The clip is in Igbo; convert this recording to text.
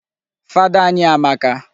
Fada anyị amaka.